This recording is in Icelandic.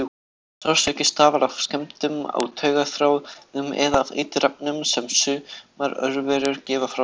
Sársauki stafar af skemmdum á taugaþráðum eða af eiturefnum sem sumar örverur gefa frá sér.